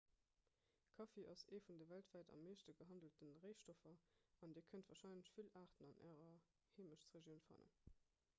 kaffi ass ee vun de weltwäit am meeschte gehandelte réistoffer an dir kënnt warscheinlech vill aarten an ärer heemechtregioun fannen